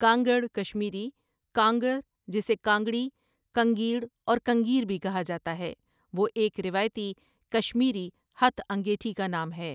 کانگڑ کشمیری کانٛگٕر جسے کانگڑی، کنگیڑ اور کنگیر بھی کہا جاتا ہے وہ ایک روایتی کشمیری ہتھ انگیٹھی کا نام ہے ۔